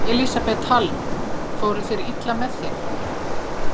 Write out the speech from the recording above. Elísabet Hall: Fóru þeir illa með þig?